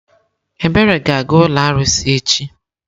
Ebere ga-aga ụlọ arụsị echi.